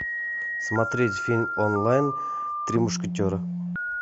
смотреть фильм онлайн три мушкетера